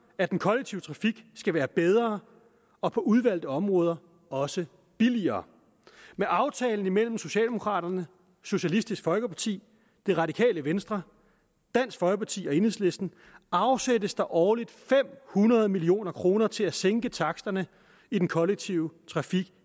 at den kollektive trafik skal være bedre og på udvalgte områder også billigere med aftalen imellem socialdemokraterne socialistisk folkeparti det radikale venstre dansk folkeparti og enhedslisten afsættes der årligt fem hundrede million kroner til at sænke taksterne i den kollektive trafik